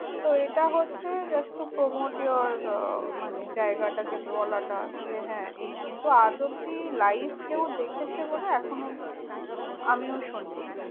তো এটা হচ্ছে just to promote your আহ মানে জায়গাটাকে বলাটা যে হ্যাঁ এই কিন্তু আজ অব্দি live কেউ দেখেছে বলে এখনও অব্দি আমিও শুনিনি।